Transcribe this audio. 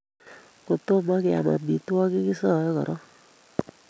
Kotomo keam amitwogik kisae koron